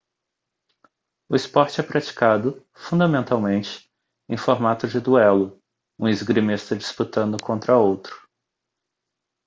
o esporte é praticado fundamentalmente em formato de duelo um esgrimista disputando contra outro